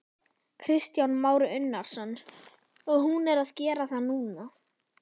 Kristján Már Unnarsson: Og hún er að gera það núna?